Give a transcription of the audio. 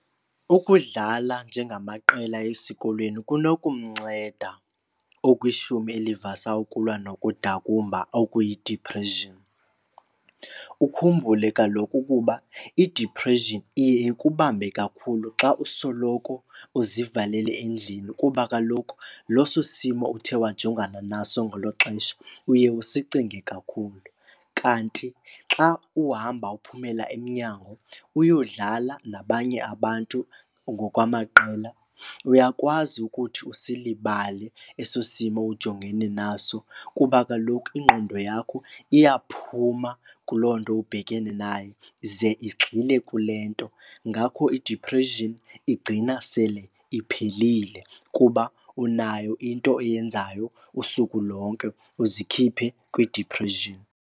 Ukudlala njengamaqela esikolweni kunokumnceda okwishumi elivasa ukulwa nokudakumba okuyidipreshini. Ukhumbule kaloku ukuba idipreshini iye ikubambe kakhulu xa usoloko uzivalele endlini kuba kaloku loso simo uthe wajongana naso ngelo xesha uye usicinge kakhulu. Kanti xa uhamba uphumela emnyango uyodlala nabanye abantu ngokwamaqela uyakwazi ukuthi usilibale eso simo ujongene naso. Kuba kaloku ingqondo yakho iyaphuma kuloo nto ubhekene nayo ze igxile kule nto. Ngakho idiphreshini igcina sele iphelile kuba unayo into oyenzayo usuku lonke uzikhiphe kwidiphreshini.